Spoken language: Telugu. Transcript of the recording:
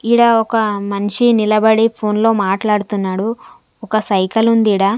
ఈడ ఒక మన్షి నిలబడి ఫోన్లో మాట్లాడుతున్నాడు ఒక సైకిల్ ఉంది ఈడ .